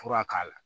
Fura k'a la